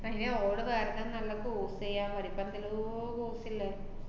തന്നെയാ ഓള് വേറെന്തെം നല്ല course ചെയ്യാ~ പഠിക്കാ എന്തെല്ലോ course ~ള്ളേ